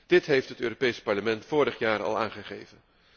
Dit heeft het Europees Parlement vorig jaar al aangegeven.